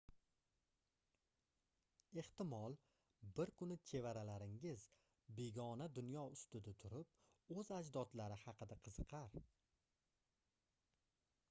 ehtimol bir kuni chevaralaringiz begona dunyo ustida turib oʻz ajdodlari haqida qiziqar